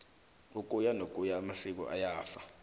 ukuya nokuya amasiko ayafa